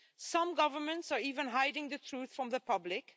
Some governments are even hiding the truth from the public.